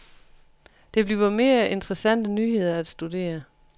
Der bliver flere interessante nyheder at studere.